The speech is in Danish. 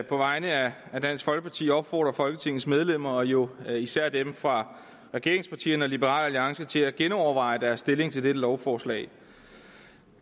på vegne af dansk folkeparti opfordre folketingets medlemmer og jo især dem fra regeringspartierne og liberal alliance til at genoverveje deres stilling til dette lovforslag